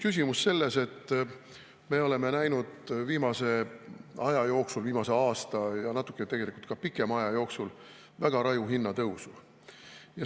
Küsimus on selles, et me oleme näinud viimase aja jooksul, viimase aasta ja natuke ka pikema aja jooksul väga raju hinnatõusu.